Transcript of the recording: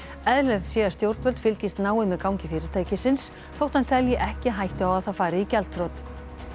eðlilegt sé að stjórnvöld fylgist náið með gangi fyrirtækisins þótt hann telji ekki hættu á að það fari í gjaldþrot